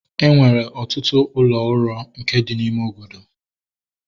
Enwere ọtụtụ ụlọ uro nke dị n'ime obodo